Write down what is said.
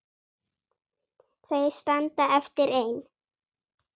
Þau standa eftir ein.